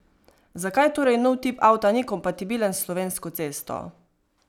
Zakaj torej nov tip avta ni kompatibilen s slovensko cesto?